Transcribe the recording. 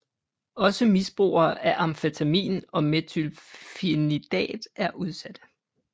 Også misbrugere af amfetamin og methylphenidat er udsatte